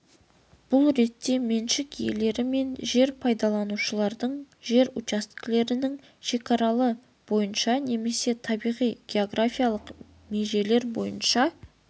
бұл ретте меншік иелері мен жер пайдаланушылардың жер учаскелерінің шекаралары бойынша немесе табиғи географиялық межелер бойынша